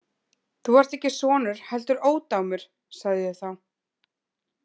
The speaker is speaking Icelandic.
Þú ert ekki sonur heldur ódámur, sagði ég þá.